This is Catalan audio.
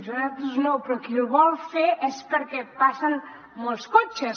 nosaltres no però qui el vol fer és perquè passen molts cotxes